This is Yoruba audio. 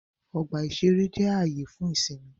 Ọgbà-ìṣeré jẹ́ ààyè fún ìsinmi